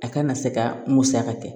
A kana se ka musaka kɛ